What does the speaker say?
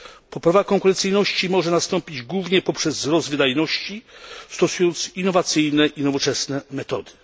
Poprawa konkurencyjności może nastąpić głównie poprzez wzrost wydajności, przy zastosowaniu innowacyjnych i nowoczesnych metod.